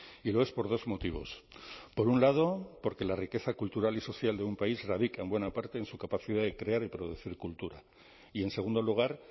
y lo es por dos motivos por un lado porque la riqueza cultural y social de un país radica en buena parte en su capacidad de crear y producir cultura y en segundo lugar